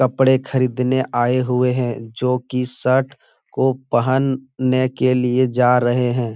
कपड़े खरीदने आए हुए हैं जो की शर्ट को पहनने के लिए जा रहे हैं ।